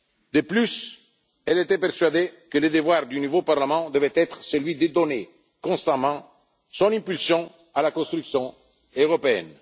De plus, Simone Veil était persuadée que le devoir du nouveau Parlement devait être celui de donner constamment son impulsion à la construction européenne.